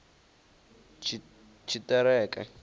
tshiṱereke